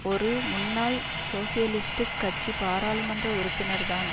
ஒரு முன்னாள் சோசியலிஸ்டுக் கட்சி பாராளமன்ற உறுப்பினர்தான்